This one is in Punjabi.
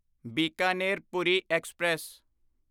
ਬੀਕਾਨੇਰ ਪੂਰੀ ਐਕਸਪ੍ਰੈਸ